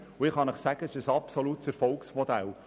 Ich kann Ihnen sagen, es ist ein absolutes Erfolgsmodell.